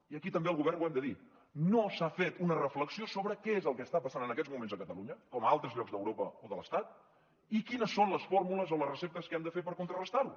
i aquí també al govern ho hem de dir no s’ha fet una reflexió sobre què és el que està passant en aquests moments a catalunya com a altres llocs d’europa o de l’estat i quines són les fórmules o les receptes que hem de fer per contrarestar ho